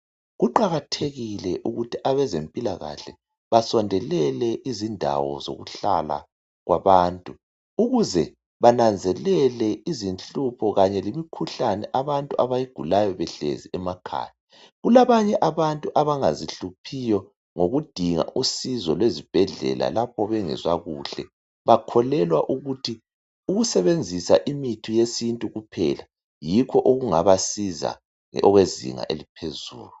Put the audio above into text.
Kuqakathekile ukuthi abezempilakahle basondelele izindawo zokuhlala kwabantu ukuze bananzelele izinhlupho kanye lemikhuhlane abantu abayigulayo behlezi emakhaya. Kulabanye abantu abangazihluphiyo ngokudinga usizo lwezibhedlela lapho bengezwa kuhle bakholelwa ukuthi ukusebenzisa imithi yesintu kuphela yikho okungabasiza okwezinga eliphezulu.